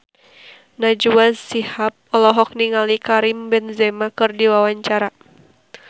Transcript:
Najwa Shihab olohok ningali Karim Benzema keur diwawancara